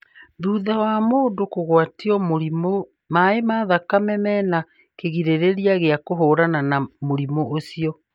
Thutha wa mũndũ kũgwatio mũrimũ, maĩ ma thakame mena kĩgirĩrĩria gĩa kũhũrana na mũrimũ ũcio.